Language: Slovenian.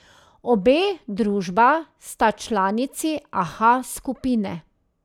Obe družba sta članici Aha Skupine.